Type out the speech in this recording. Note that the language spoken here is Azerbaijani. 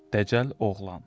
Dəcəl oğlan.